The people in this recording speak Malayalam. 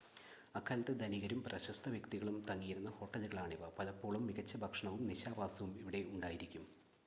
അക്കാലത്തെ ധനികരും പ്രശസ്ത വ്യക്തികളും തങ്ങിയിരുന്ന ഹോട്ടലുകളാണിവ പലപ്പോഴും മികച്ച ഭക്ഷണവും നിശാവാസവും ഇവിടെ ഉണ്ടായിരിക്കും